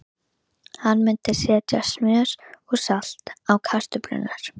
Hann myndi setja smjör og salt á kartöflurnar.